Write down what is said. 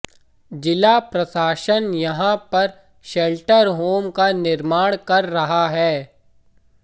जिला प्रशासन यहां पर शेल्टर होम का निर्माण कर रहा है